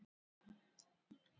Það er nú það fyrsta.